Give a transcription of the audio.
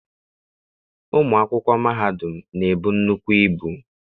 Ụmụ akwụkwọ mahadum na-ebu nnukwu ibu.